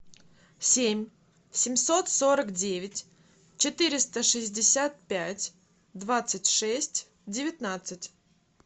семь семьсот сорок девять четыреста шестьдесят пять двадцать шесть девятнадцать